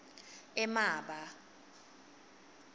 emaba